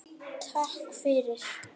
Og ætlarðu þá að játa?